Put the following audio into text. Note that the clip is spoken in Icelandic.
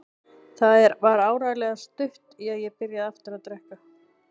Það var áreiðanlega stutt í að ég byrjaði aftur að drekka.